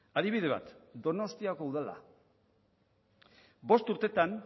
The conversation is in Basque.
adibide bat donostiako udala bost urteetan